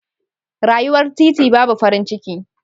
Rayuwar titi babu farin ciki.